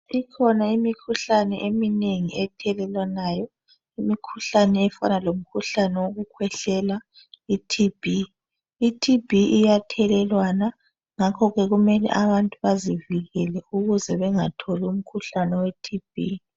Ikhona imikhuhlane eminengi ethelelwanayo, imikhuhlane efana lomkhuhlane wokukhwehlela, iTB. I TB iyathelelwana ngakhoke kumele abantu bazivikele ukuze bangatholi umkhuhlane we TB.